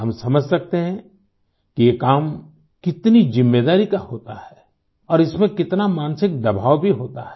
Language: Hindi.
हम समझ सकते हैं कि ये काम कितनी ज़िम्मेदारी का होता है और इसमें कितना मानसिक दबाव भी होता है